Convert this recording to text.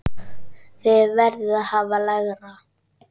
Þið verðið að hafa lægra.